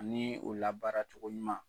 Ani o labaara cogo ɲuman